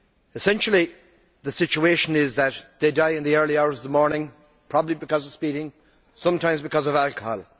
Essentially the situation is that they die in the early hours of the morning probably because of speeding, sometimes because of alcohol.